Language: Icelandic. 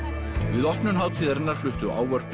við opnun hátíðarinnar fluttu ávörp